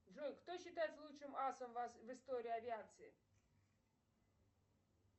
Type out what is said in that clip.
джой кто считается лучшим асом в истории авиации